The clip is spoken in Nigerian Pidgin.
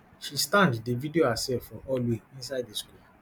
she stand dey video herself for hallway inside di school